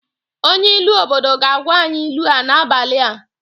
Onye ilu obodo ga-agwa anyị ilu a n'abalị a.